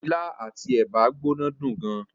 Ilá àti ẹ̀bà gbóná dùn gan.